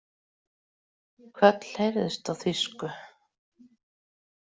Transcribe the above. Köll heyrðust á þýsku.